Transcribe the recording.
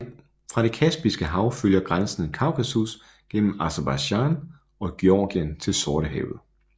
Fra det Kaspiske Hav følger grænsen Kaukasus gennem Aserbajdsjan og Georgien til Sortehavet